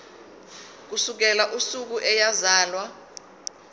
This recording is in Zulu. ukusukela usuku eyazalwa